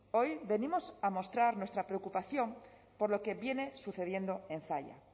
hoy venimos a mostrar nuestra preocupación por lo que viene sucediendo en zalla